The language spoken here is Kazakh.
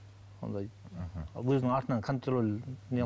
ондай мхм өзінің артынан контроль